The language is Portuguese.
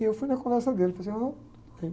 E eu fui na conversa dele, falei assim, ah, está bem.